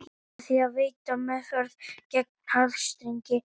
Með því að veita meðferð gegn háþrýstingi